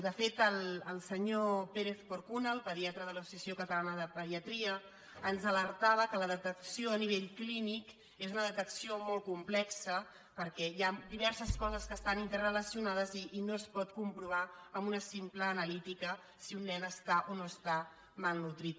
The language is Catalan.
de fet el senyor pérez porcuna el pediatra de la societat ca·talana de pediatria ens alertava que la detecció a ni·vell clínic és una detecció molt complexa perquè hi han diverses coses que estan interrelacionades i no es pot comprovar amb una simple analítica si un nen està o no està malnodrit